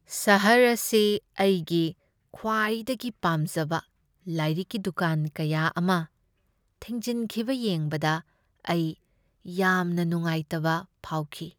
ꯁꯍꯔ ꯑꯁꯤ ꯑꯩꯒꯤ ꯈ꯭ꯋꯥꯏꯗꯒꯤ ꯄꯥꯝꯖꯕ ꯂꯥꯏꯔꯤꯛꯀꯤ ꯗꯨꯀꯥꯟ ꯀꯌꯥ ꯑꯃ ꯊꯤꯡꯖꯤꯟꯈꯤꯕ ꯌꯦꯡꯕꯗ ꯑꯩ ꯌꯥꯝꯅ ꯅꯨꯡꯉꯥꯏꯇꯕ ꯐꯥꯎꯈꯤ꯫